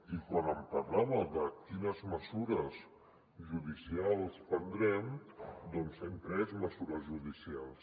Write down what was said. i quan em parlava de quines mesures judicials prendrem doncs hem pres mesures judicials